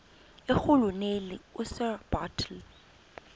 irhuluneli usir bartle